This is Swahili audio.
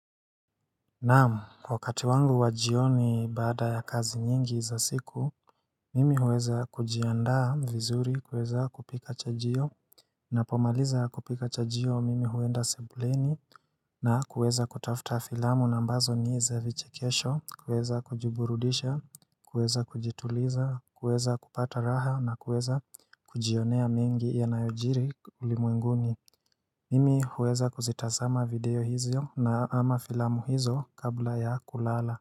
Naam, wakati wangu wa jioni baada ya kazi nyingi za siku, mimi huweza kujiandaa vizuri, kuweza kupika chajio, napomaliza kupika chajio mimi huenda sebuleni, na kuweza kutafuta filamu na ambazo ni za vichekesho, kuweza kujiburudisha, kuweza kujituliza, kuweza kupata raha, na kuweza kujionea mengi yanayojiri ulimwenguni Mimi huweza kuzitazama video hizo na ama filamu hizo kabla ya kulala.